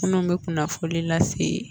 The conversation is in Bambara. Minnu bɛ kunnafoli lase